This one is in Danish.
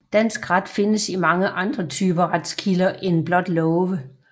Dansk ret findes i mange andre typer retskilder end blot love